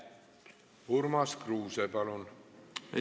Urmas Kruuse, palun!